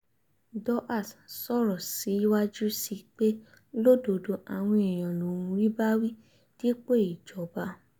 dohertz sọ̀rọ̀ síwájú sí i pé lódodo àwọn èèyàn lòún rí bá wí dípò ìjọba